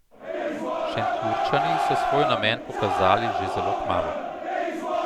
Šentjurčani so svoj namen pokazali že zelo kmalu.